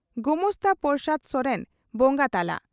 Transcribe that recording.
ᱜᱚᱢᱟᱥᱛᱟ ᱯᱨᱚᱥᱟᱫᱽ ᱥᱚᱨᱮᱱ ᱵᱚᱸᱜᱟ ᱛᱟᱞᱟ